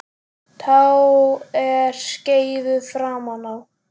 Tá er skeifu framan á.